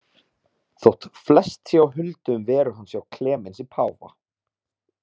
Þótt flest sé á huldu um veru hans hjá Klemensi páfa.